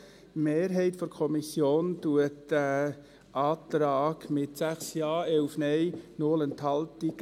Die Mehrheit der Kommission lehnt diesen Antrag ab, mit 6 Ja, 11 Nein, 0 Enthaltungen.